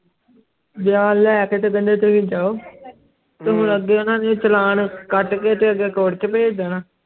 ਬਿਆਨ ਲੈ ਕੇ ਤੇ ਕਹਿੰਦੇ ਤੁਸੀਂ ਜਾਓ ਤੇ ਹੁਣ ਅਗੇ ਓਨਾ ਨੇ ਚਾਲਾਣ ਕੱਟ ਕੇ ਤੇ ਅਗੇ ਕੋਰਟ ਚ ਭੇਜ ਦੇਣਾ